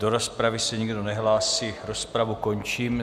Do rozpravy se nikdo nehlásí, rozpravu končím.